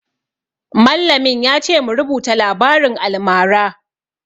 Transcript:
Mallamin ya ce mu rubuta labarin almara